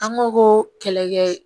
An ko ko kɛlɛkɛ